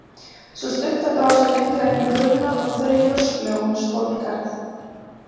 Sú stutta brá sér lengra inn í gufuna og þreif rösklega oní skolkarið.